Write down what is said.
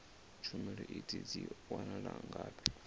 tshumelo idzi dzi wanala ngafhi